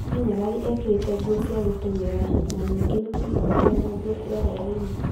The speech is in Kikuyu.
Ni nyarari ekerĩte nguo cia gũtengera na nige nĩ muthaka e na ngũo cia hwainĩ.